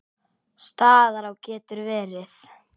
Staðará getur verið